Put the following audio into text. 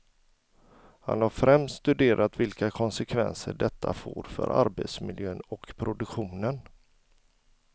Han har främst studerat vilka konsekvenser detta får för arbetsmiljön och produktionen.